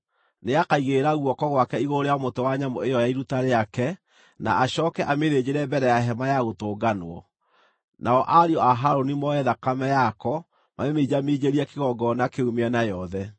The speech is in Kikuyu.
Nĩakaigĩrĩra guoko gwake igũrũ rĩa mũtwe wa nyamũ ĩyo ya iruta rĩake, na acooke amĩthĩnjĩre mbere ya Hema-ya-Gũtũnganwo. Nao ariũ a Harũni moe thakame yako mamĩminjaminjĩrie kĩgongona kĩu mĩena yothe.